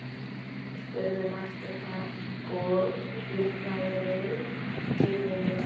spurði Marteinn og hýrnaði við tíðindin.